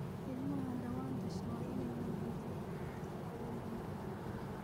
Ilmaha dhawaan dhashay waa in la quudiyaa afartii saacadoodba mar